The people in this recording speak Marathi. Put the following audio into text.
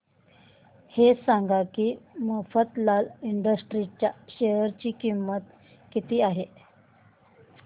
हे सांगा की मफतलाल इंडस्ट्रीज च्या शेअर ची किंमत किती आहे